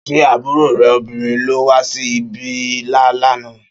Ṣé àbúrò rẹ obìnrin ló wá sí ibí lá nà?